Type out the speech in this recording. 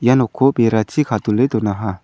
ia nokko berachi kadule donaha.